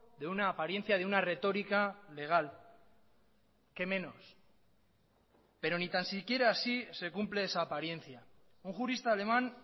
de una apariencia de una retórica legal qué menos pero ni tan siquiera así se cumple esa apariencia un jurista alemán